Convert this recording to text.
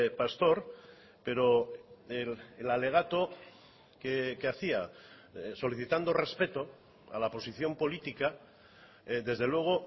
pastor pero el alegato que hacía solicitando respeto a la posición política desde luego